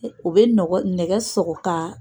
U bɛ nɛgɛ sɔgɔ k'a